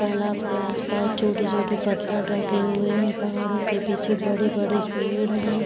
तालाब के आस-पास छोटे-छोटे पत्थर ढंके हुए है। पहाड़ों के पीछे बड़े-बड़े पेड़ है।